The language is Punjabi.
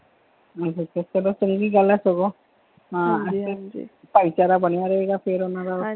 ਨਹੀਂ ਚੰਗੀ ਗੱਲ ਹ ਚਲੋ ਸਗੋਂ ਹਾਂਜੀ ਹਾਂਜੀ ਭਾਈਚਾਰਾ ਬਣਿਆ ਰਹੇਗਾ ਫਿਰ ਓਹਨਾ ਦਾ।